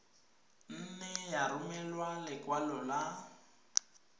nne ya romela lekwalo la